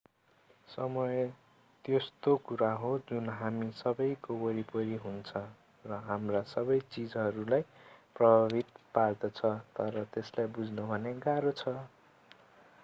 समय त्यस्तो कुरा हो जुन हामी सबैको वरिपरि हुन्छ र हाम्रा सबै चीजहरूलाई प्रभावित पार्दछ तर त्यसलाई बुझ्न भने गाह्रो छ